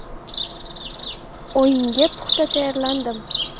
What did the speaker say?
O‘yinga puxta tayyorlandim.